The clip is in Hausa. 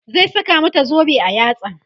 zai saka mata zobe a yatsa